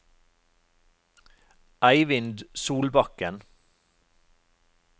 Eivind Solbakken